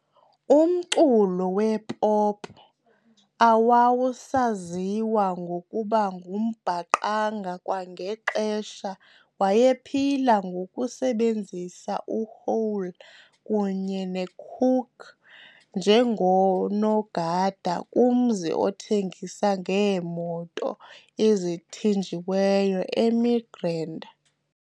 Umculo wepop owawusaziwa ngokuba ngumbaqanga kwangelo xesha wayephila ngokusebenzela uHole kunye noCooke njengonogada kumzi othengisa ngeemoto ezithinjiweyo eMidrand.